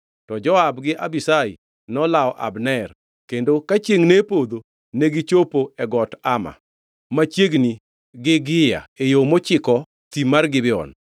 To Joab gi Abishai nolawo Abner, kendo ka chiengʼ ne podho, negichopo e got Ama, machiegni gi Gia e yo mochiko thim mar Gibeon.